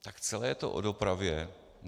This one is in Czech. Tak celé je to o dopravě.